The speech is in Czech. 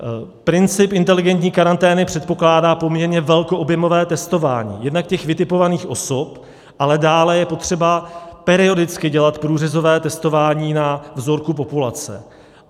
Princip inteligentní karantény předpokládá poměrně velkoobjemové testování jednak těch vytipovaných osob, ale dále je potřeba periodicky dělat průřezové testování na vzorku populace.